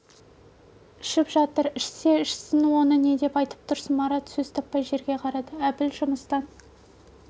ішіп жатыр ішсе ішсін оны не деп айтып тұрсың марат сөз таппай жерге қарады әбіл жұмыстан